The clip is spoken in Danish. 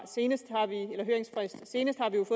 senest